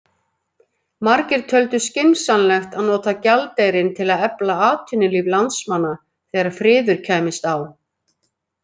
Margir töldu skynsamlegt að nota gjaldeyrinn til að efla atvinnulíf landsmanna þegar friður kæmist á.